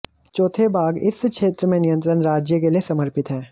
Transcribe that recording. चौथे भाग इस क्षेत्र में नियंत्रण राज्य के लिए समर्पित है